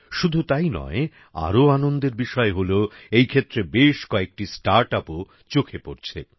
শুধু তাই নয় আরও আনন্দের বিষয় হল এই ক্ষেত্রে বেশ কয়েকাটি স্টার্ট upও চোখে পড়ছে